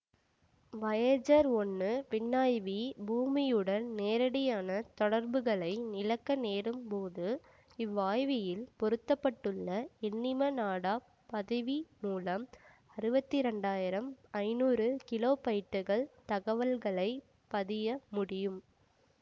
Voyager ஒன்று விண்ணாய்வி பூமியுடன் நேரடியான தொடர்புகளை இழக்க நேரும் போது இவ்வாய்வியில் பொருத்த பட்டுள்ள எண்ணிம நாடாப் பதிவி மூலம் அறுபத்து இரண்டு ஆயிரம் ஐநூறு கிலோபைட்டுகள் தகவல்களை பதிய முடியும்